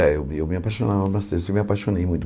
É, eu me apaixonava bastante, eu me apaixonei muito.